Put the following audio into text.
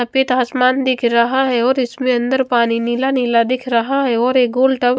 सफेद आसमान दिख रहा है और इसमे अंदर पानी नीला नीला दिख रहा है और एक गोल टब--